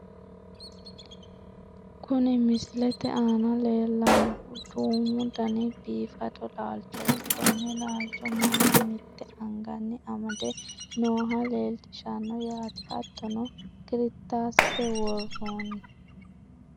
kuni misilete aana leellannohu duumu dani biifado laalchooti, konne laancho mannu mitte anganni amade nooha leellishshanno yaate. hattono kirittaasete worroonni.